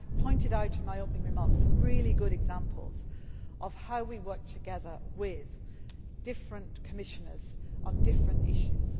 develop that. I have pointed out in my opening remarks some really good examples of how we work together with different Commissioners on different